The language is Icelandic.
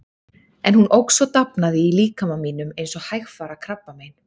En hún óx og dafnaði í líkama mínum eins og hægfara krabbamein.